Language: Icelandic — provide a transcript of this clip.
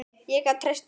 Ég gat treyst á hann.